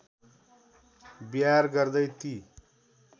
विहार गर्दै ती